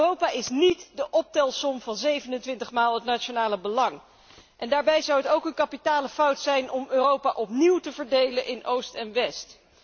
Europa is niet de optelsom van 27 maal het nationale belang. Daarbij zou het ook een kapitale fout zijn om Europa opnieuw te verdelen in oost en west.